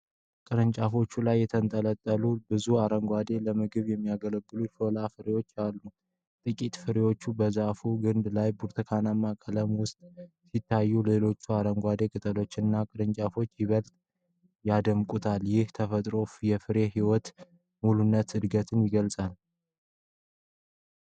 ቅርንጫፎቹ ላይ የተንጠለጠሉ ብዙ አረንጓዴ ለምግብነት የሚያገለግሉ የሾላ ፍሬዎች አሉ። ጥቂት ፍሬዎች በዛፉ ግንድ ላይ በብርቱካናማ ቀለም ውስጥ ሲታዩ፣ ሌሎች አረንጓዴ ቅጠሎችና ቅርንጫፎች ይበልጥ ያደምቁታል። ይህ የተፈጥሮ ፍሬ የህይወትን ሙሉነትና እድገትን ይገልጻል፡፡